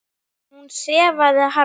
Hún sefaði harma.